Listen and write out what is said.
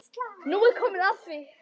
Nú er komið að því!